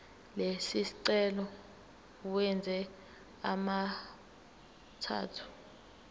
lesicelo uwenze abemathathu